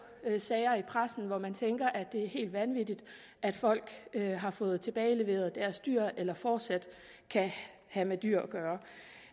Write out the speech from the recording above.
sager i pressen hvor man tænker at det er helt vanvittigt at folk har fået tilbageleveret deres dyr eller fortsat kan have med dyr at gøre